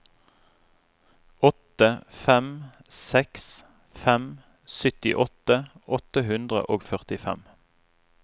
åtte fem seks fem syttiåtte åtte hundre og førtifem